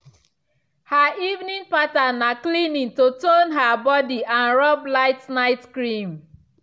her evening pattern na cleaning to tone her body and rub light night cream